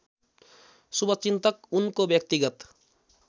शुभचिन्तक उनको व्यक्तिगत